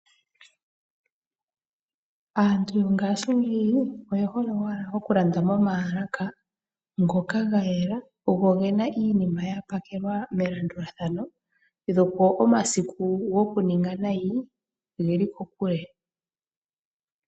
Aantu yongashingeyi oye hole wala okulanda moomalaka ngoka ga yela go egena iinima ya pakelwa melandulathano go omasiku gokuninga nayi oge li kokule.